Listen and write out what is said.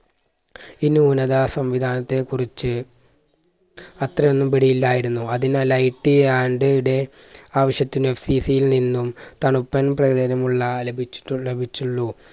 ഈ ന്യൂനത സംവിധാനത്തെ കുറിച്ച്‌ അത്രയൊന്നും പിടിയില്ലായിരുന്നു. അതിനാൽ IT and day ആവശ്യത്തിന് FCC യിൽ നിന്നും തണുപ്പൻ പ്രകടനമുള്ള ലഭിച്ചുട്ടുൾ ലഭിച്ചുള്ളൂ